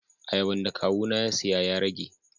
Ayaban da Kawu na ya siya ya rage.